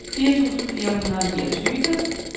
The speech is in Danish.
firs tusind fire hundrede og niogtyve